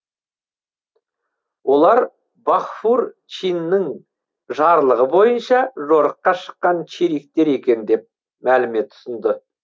олар фағфур чиннің жарлығы бойынша жорыққа шыққан чериктер екен деп мәлімет ұсынды